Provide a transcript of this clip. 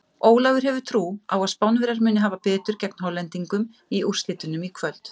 Ólafur hefur trú á að Spánverjar muni hafa betur gegn Hollendingum í úrslitunum í kvöld.